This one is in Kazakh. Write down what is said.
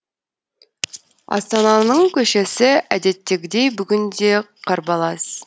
астананың көшесі әдеттегідей бүгін де қарбалас